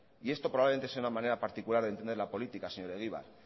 y esto probablemente es una manera particular de entender la política señor egibar